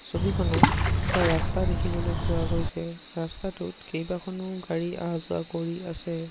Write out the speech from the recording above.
ছবিখনত এটা ৰাস্তা দেখিবলৈ পোৱা গৈছে ৰাস্তাটোত কেইবাখনো গাড়ী অহা যোৱা কৰি আছে।